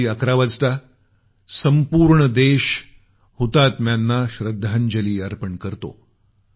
11 वाजता संपूर्ण देश हुतात्म्यांना श्रद्धांजली अर्पण करतो